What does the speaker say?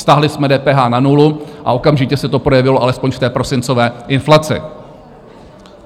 Stáhli jsme DPH na nulu a okamžitě se to projevilo alespoň v té prosincové inflaci.